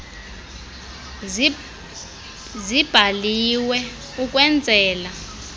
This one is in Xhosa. zibhaliwe ukwen zela